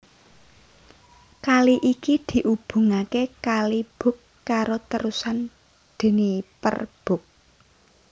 Kali iki diubungaké Kali Bug karo Terusan Dniper Bug